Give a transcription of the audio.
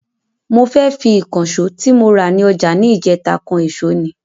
Mo fẹ́ fi Ìkànsó tí mo rà ní ọjà ni ìjèta kan ẹ̀sọ́ ni